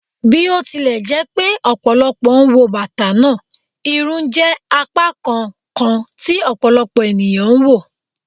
Bi o tilẹ jẹ pe ọpọlọpọ wo bata naa, irun jẹ apakan kan ti ọpọlọpọ eniyan n wo